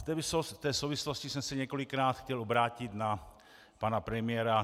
V té souvislosti jsem se několikrát chtěl obrátit na pana premiéra.